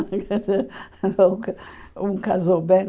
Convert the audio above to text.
Um ca um casou bem